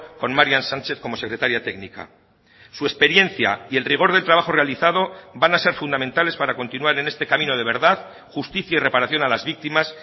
con marian sánchez como secretaria técnica su experiencia y el rigor del trabajo realizado van a ser fundamentales para continuar en este camino de verdad justicia y reparación a las víctimas